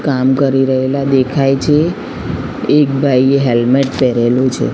કામ કરી રહેલા દેખાય છે એક ભાઈએ હેલ્મેટ પહેરેલું છે.